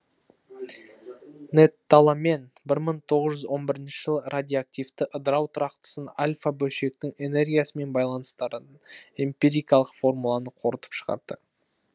нэттоломен бір мың тоғыз жүз он бірінші жылы радиоактивті ыдырау тұрақтысын альфа бөлшектің энергиясымен байланыстыратын эмпирикалық формуланы қорытып шығарды